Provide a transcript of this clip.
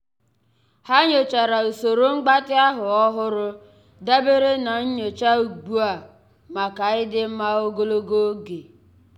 há nyòchàrà usoro mgbatị ahụ́ ọ́hụ́rụ́ dabere na nyocha ugbu a màkà ịdị mma ogologo oge.